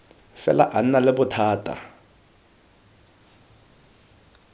fela a nna le bothata